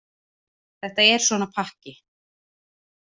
Þetta er svona pakki.